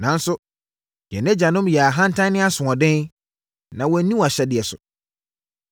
“Nanso, yɛn agyanom yɛɛ ahantan ne asoɔden, na wɔanni wʼahyɛdeɛ so.